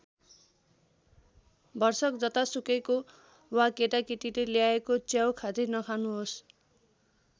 भरसक जतासुकैको वा केटाकेटीले ल्याएको च्याउ खाँदै नखानुहोस्।